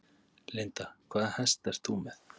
Linda: Hvaða hest ert þú með?